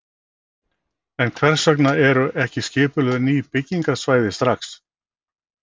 En hvers vegna eru ekki skipulögð ný byggingarsvæði strax?